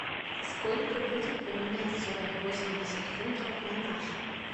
сколько будет поменять сорок восемьдесят фунтов на наши